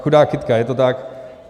Chudák kytka, je to tak.